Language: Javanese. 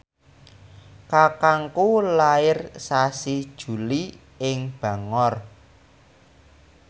kakangku lair sasi Juli ing Bangor